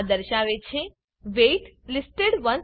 આ દર્શાવે છે વેઇટ લિસ્ટેડ 162